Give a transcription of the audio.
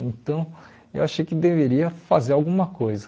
Então, eu achei que deveria fazer alguma coisa.